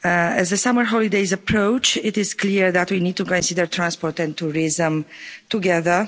As the summer holidays approach, it is clear that we need to consider transport and tourism together.